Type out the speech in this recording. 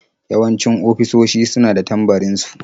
Yawanci ofisoshi su na da tambarin su.